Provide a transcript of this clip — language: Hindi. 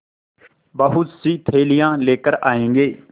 बहुतसी थैलियाँ लेकर आएँगे